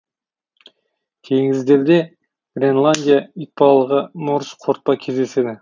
теңіздерде гренландия итбалығы морж қортпа кездеседі